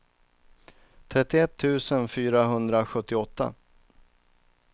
trettioett tusen fyrahundrasjuttioåtta